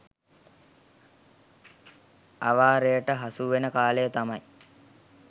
අවාරයට හසු වෙන කාලය තමයි